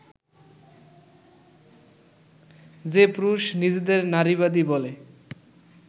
যে পুরুষ নিজেদের নারীবাদী বলে